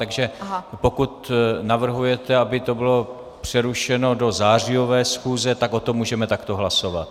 Takže pokud navrhujete, aby to bylo přerušeno do zářijové schůze, tak o tom můžeme takto hlasovat.